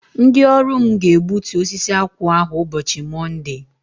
Ndị ọrụ mụ ga- egbútú osisi akwụ ahụ ụbọchị Monde!!!!